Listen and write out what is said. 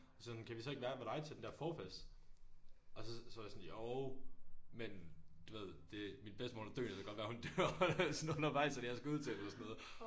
Og sagde han kan vi så ikke være ved dig til den der forfest og så så var jeg sådan jo men du ved det min bedstemor hun er døende det kan godt være hun dør sådan undervejs og jeg skal ud til hende eller sådan noget